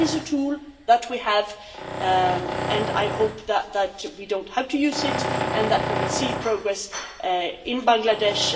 So that is a tool that we have, but I hope that that we do not have to use it and that we will see progress in Bangladesh.